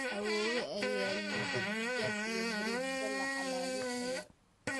awoowe ayaa yidhi digaag iyo bariis dalac hala Ii kariyo